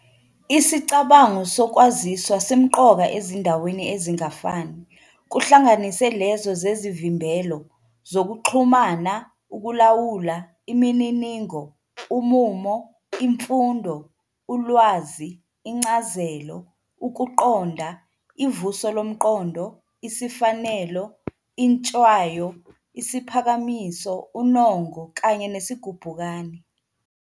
Isicabango sokwaziswa simqoka ezindaweni ezingafani, kuhlanganise lezo zezivimbelo, zokuxhumana, ukulawula, imininingo, umumo, imfundo, ulwazi, incazelo, ukuqonda, ivuso lomqondo, isifanelo, intshwayo, Isiphakamiso, unongo, kanye nesigubhukane.